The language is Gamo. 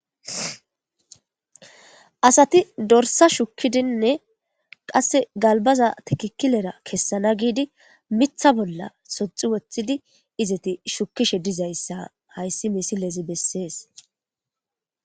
asati dorsa shukkidinne qasse galbaza tikikilera kessana giidi mitha bolla soxi woththidi izeti shukkishe dizayssa hayssi misilezi bessees